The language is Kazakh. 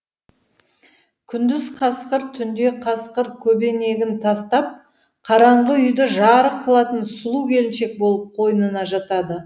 күндіз қасқыр түнде қасқыр кебенегін тастап қараңғы үйді жарық қылатын сұлу келіншек болып қойнына жатады